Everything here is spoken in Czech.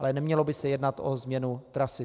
Ale nemělo by se jednat o změnu trasy.